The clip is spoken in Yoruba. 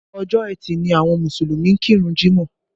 Ọjọ́ ẹtì ni àwọn Mùsùlùmí ń kírun jímọ̀